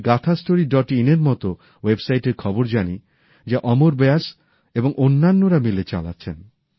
আমি গাথাস্টোরি ডট ইনএর মতো ওয়েবসাইটএর খবর জানি যা অমর ব্যাস এবং অন্যান্যরা মিলে চালাচ্ছেন